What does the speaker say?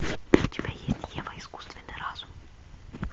у тебя есть ева искусственный разум